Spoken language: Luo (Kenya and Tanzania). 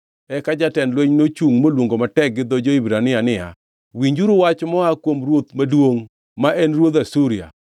Eka jatend lweny nochungʼ moluongo matek gi dho jo-Hibrania niya, “Winjuru wach moa kuom ruoth maduongʼ, ma en ruodh Asuria!